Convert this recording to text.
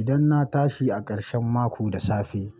Idan na tashi a ƙarshen mako da safe,